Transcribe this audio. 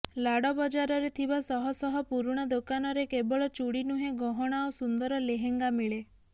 LAD ବଜାରରେ ଥିବା ଶହଶହ ପୁରୁଣା ଦୋକାନରେ କେବଳ ଚୁଡ଼ି ନୁହେଁ ଗହଣା ଓ ସୁନ୍ଦର ଲେହଙ୍ଗା ମିଳେ